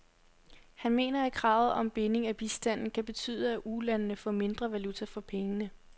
Han mener, at kravet om binding af bistanden kan betyde, at ulandene får mindre valuta for pengene.